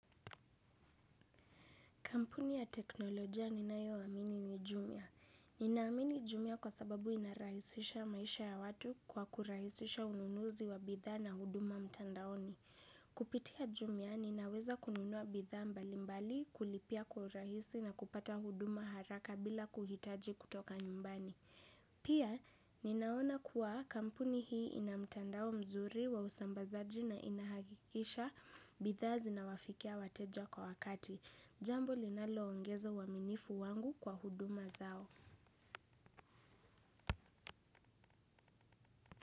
Kampuni ya teknolojia ninayo amini ni jumia. Ninaamini jumia kwa sababu inarahisisha maisha ya watu kwa kurahisisha ununuzi wa bidhaa na huduma mtandaoni. Kupitia jumia, ninaweza kununua bidhaa mbali mbali kulipia kwa rahisi na kupata huduma haraka bila kuhitaji kutoka nyumbani. Pia, ninaona kuwa kampuni hii inamtandao mzuri wa usambazaji na inahakikisha bidhaa zinawafikia wateja kwa wakati. Jambo linaloongeza uaminifu wangu kwa huduma zao.